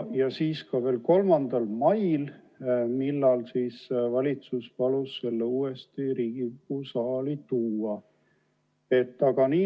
Ja siis veel 3. mail, kui valitsus palus selle uuesti Riigikogu saali tuua.